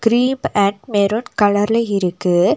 Cream and maroon கலர்ல இருக்கு.